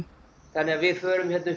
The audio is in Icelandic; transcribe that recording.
þannig að við förum hérna upp